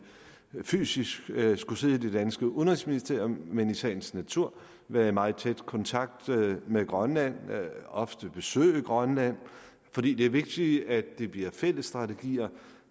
fysisk skulle sidde i det danske udenrigsministerium men vil i sagens natur være i meget tæt kontakt med grønland og ofte besøge grønland fordi det er vigtigt at det bliver fælles strategier